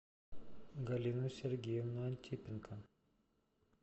галину сергеевну антипенко